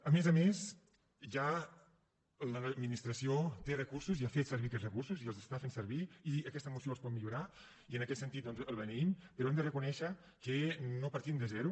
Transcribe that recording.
a més a més ja l’administració hi té recursos i ha fet servir aquests recursos i els està fent servir i aquesta moció els pot millorar i en aquest sentit doncs la beneïm però hem de reconèixer que no partim de zero